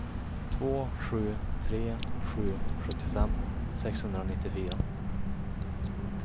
två sju tre sju sjuttiofem sexhundranittiofyra